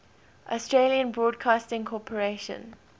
australian broadcasting corporation